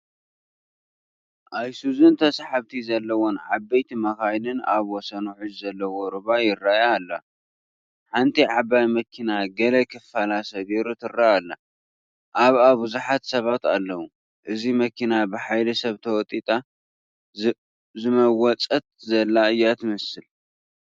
ኣይሱዙን ተሰሓብቲ ዘለወን ዓበይቲ መኻይንን ኣብ ወሰን ውሕጅ ዘለዎ ሩባ ይርአያ ኣለ፡፡ ሓንቲ ዓባይ መኪና ገለ ክፋላ ሰጊሩ ትርአ አላ፡፡ ኣብኡ ብዙሓት ሰባት ኣለዉ፡፡ እዚ መኪና ብሓይሊ ሰባት ተወጢጣ ዝመወፀት ዘላ እያ ትመስል፡፡